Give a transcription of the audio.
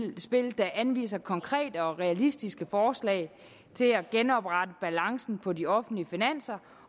der anviser konkrete og realistiske forslag til at genoprette balancen på de offentlige finanser